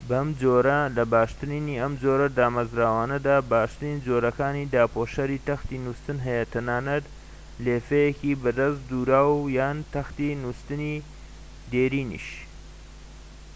بەم جۆرە لە باشترینی ئەم جۆرە دامەزراوانەدا باشترین جۆرەکانی داپۆشەری تەختی نووستن هەیە تەنانەت لێفەیەکی بەدەست دووراو یان تەختی نووستنی دێرینیش